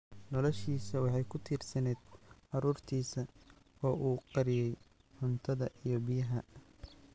Noloshiisa waxay ku tiirsanayd carruurtiisa oo u qariyay cuntada iyo biyaha.